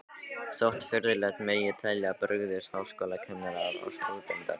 Þótt furðulegt megi telja, brugðust háskólakennarar og stúdentar í